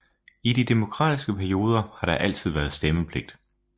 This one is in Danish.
I de demokratiske perioder har der altid været stemmepligt